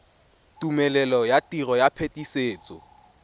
tumelelo ya tiro ya phetisetso